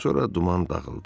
Sonra duman dağıldı.